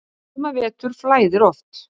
Suma vetur flæðir oft